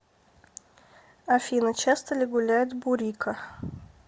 афина часто ли гуляет бурико